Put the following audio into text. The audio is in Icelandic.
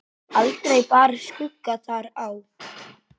Aldrei bar skugga þar á.